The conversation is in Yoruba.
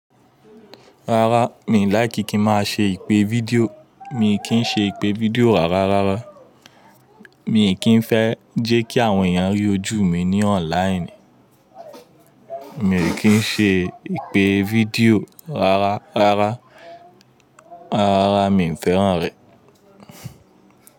Rárá, mi ò láìkí n má ṣe ìpè fídíò. Mí kí ṣe ìpè fídíò rárá. Mí kìí fẹ́ jẹ́ kí àwọn èèyàn rí ojú mi ní online. Mí kii ṣe ìpè fídíò rárá, rárá, rárá mi ò fẹ́ràn rẹ̀.